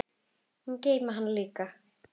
Og geyma hana líka.